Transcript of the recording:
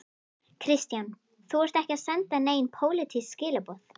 Kristján: Þú ert ekki að senda nein pólitísk skilaboð?